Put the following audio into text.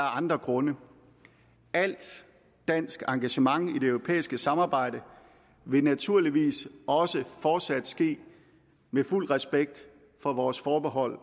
andre grunde alt dansk engagement i det europæiske samarbejde vil naturligvis også fortsat ske med fuld respekt for vores forbehold